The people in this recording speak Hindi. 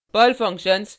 Perl functions